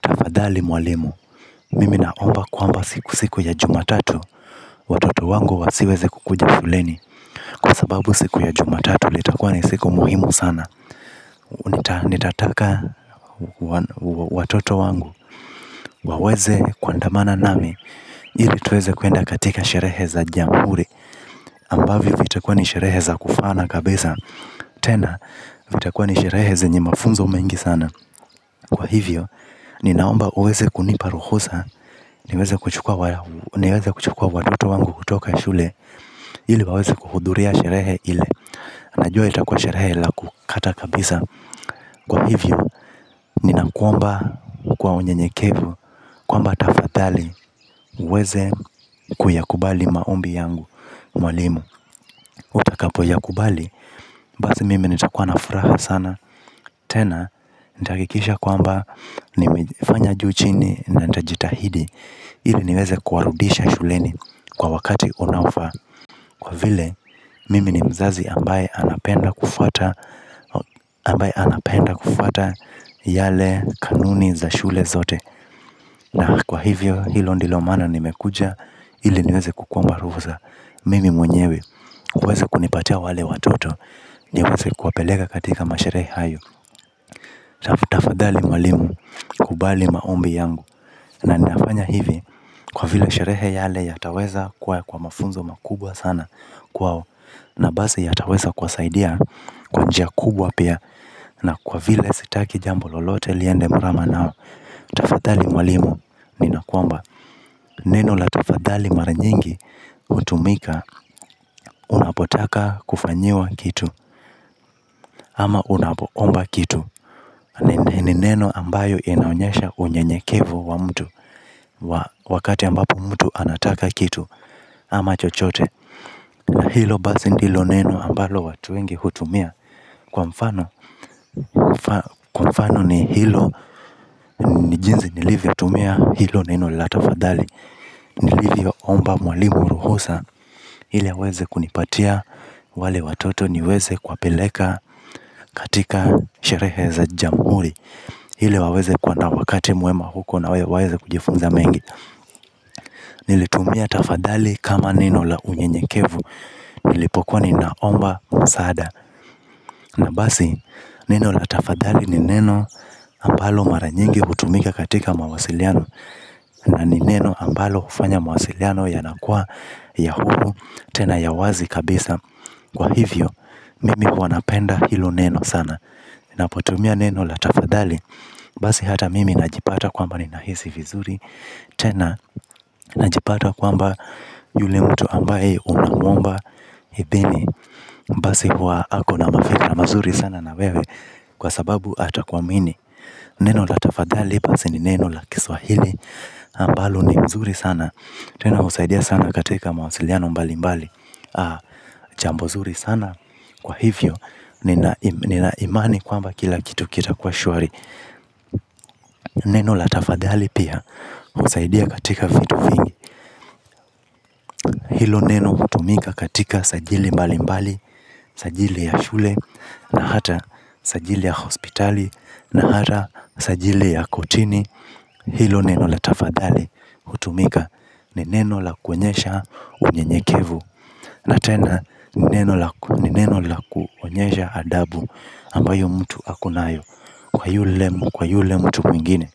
Tafadhali mwalimu. Mimi naomba kwamba siku siku ya jumatatu watoto wangu wasiweze kukuja shuleni. Kwa sababu siku ya jumatatu litakuwa ni siku muhimu sana. Nitataka watoto wangu waweze kuandamana nami. Ili tuweze kwenda katika sherehe za jamhuri ambavyo vitakuwa ni sherehe za kufana kabisa tena vitakuwa ni sherehe zenye mafunzo mengi sana kwa hivyo ninaomba uweze kunipa ruhusa niweze kuchukuwa. Niweze kuchukua watoto wangu kutoka shule. Ili waweze kuhudhuria sherehe ile. Najua itakuwa sherehe la kukata kabisa. Kwa hivyo, ninakuomba kwa unyenyekevu kwamba tafadhali uweze kuyakubali maombi yangu mwalimu, utakapo yakubali basi mimi nitakuwa na furaha sana. Tena, nitahakikisha kwamba nimefanya juu chini, na nitajitahidi ili niweze kuwarudisha shuleni. Kwa wakati unaofaa. Kwa vile mimi ni mzazi ambaye anapenda kufuata ambaye anapenda kufuata yale kanuni za shule zote na kwa hivyo hilo ndio maana nimekuja ili niweze kukuomba ruhusa. Mimi mwenyewe uweze kunipatia wale watoto niweze kuwapeleka katika masherehe hayo. Tafadhali mwalimu kubali maombi yangu. Na ninafanya hivi kwa vile sherehe yale yataweza kuwa kwa mafunzo makubwa sana kwao, na basi yataweza kuwasaidia kwa njia kubwa pia. Na kwa vile sitaki jambo lolote liende murama nao. Tafadhali mwalimu, ninakuomba. Neno la tafadhali mara nyingi, hutumika, unapotaka kufanyiwa kitu. Ama unapoomba kitu. Ni neno ambayo inaonyesha unyenyekevu wa mtu. Wakati ambapo mtu anataka kitu, ama chochote. Na hilo basi ndilo neno ambalo watu wengi hutumia kwa mfano ni hilo ni jinsi nilivyotumia hilo neno la tafadhali nilivyo omba mwalimu ruhusa ili aweze kunipatia wale watoto niweze kuwapeleka katika sherehe za jamhuri ili waweze kuwa na wakati mwema huko na waweze kujifunza mengi. Nilitumia tafadhali kama neno la unyenyekevu. Nilipokuwa ni naomba msaada. Na basi neno la tafadhali ni neno ambalo mara nyingi hutumika katika mawasiliano. Na ni neno ambalo hufanya mawasiliano yanakua ya huru tena ya wazi kabisa. Kwa hivyo mimi huwa napenda hilo neno sana. Napotumia neno la tafadhali basi hata mimi najipata kwamba ni nahisi vizuri. Tena najipata kwamba yule mtu ambaye unamuomba idhini basi huwa ako na mafikra mazuri sana na wewe. Kwa sababu atakuamini. Neno la tafadhali basi ni neno la kiswahili ambalo ni mzuri sana. Tena husaidia sana katika mawasiliano mbali mbali jambo zuri sana. Kwa hivyo nina imani kwamba kila kitu kita kwa shuari. Neno la tafadhali pia husaidia katika vitu vingi. Hilo neno hutumika katika sajili mbali mbali. Sajili ya shule na hata sajili ya hospitali na hata sajili ya kotini hilo neno la tafadhali hutumika ni neno la kuonyesha unyenyekevu. Na tena. Nineno la kuonyesha adabu ambayo mtu akonayo. Kwa yule mtu mwingine